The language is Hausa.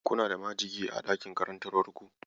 Kuna da majigi a dakin karantarwar ku?